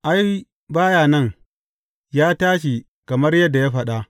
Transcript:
Ai, ba ya nan, ya tashi kamar yadda ya faɗa.